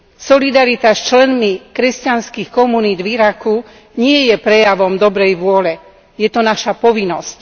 Solidarita s členmi kresťanských komunít v Iraku nie je prejavom dobrej vôle, je to naša povinnosť.